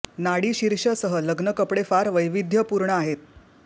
नाडी शीर्ष सह लग्न कपडे फार वैविध्यपूर्ण आहेत